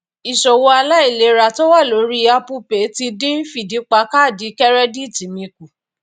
ìṣòwò aláìlera tó wa lórí apple pay ti dín fìdí pa kaadi kẹrẹdíìtì mi kù